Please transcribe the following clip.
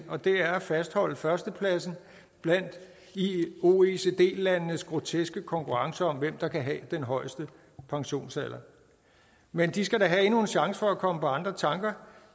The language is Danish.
og det er at fastholde førstepladsen blandt oecd landenes groteske konkurrence om hvem der kan have den højeste pensionsalder men de skal da have endnu en chance for at komme på andre tanker